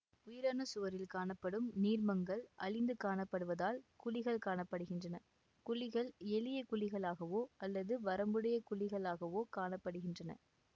உயிரணுச்சுவரில் காணப்படும் நீர்மங்கள் அழிந்து காணப்படுவதால் குழிகள் காண படுகின்றன குழிகள் எளிய குழிகளாகவோ அல்லது வரம்புடைய குழிகளாகவோக் காண படுகின்றன